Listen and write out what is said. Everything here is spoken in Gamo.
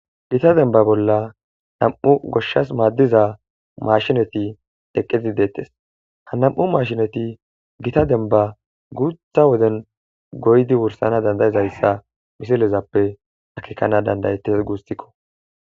Gita denba bolla nam'u goshshas maadiza maashineti eqqidi de'etees;ha nam'u maashineti gita denba guuta woden goyidi wursana danda'izaysa misilezappe akeekana danda'etees guusiko.